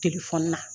Telefɔni na